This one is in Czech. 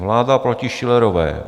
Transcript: Vláda proti Schillerové.